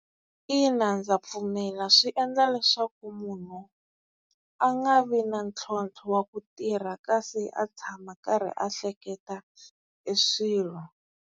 Ina ndza pfumela swi endla leswaku munhu a nga vi na ntlhontlho wa ku tirha, kasi a tshama a karhi a hleketa e swilo.